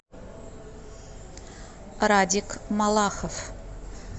радик малахов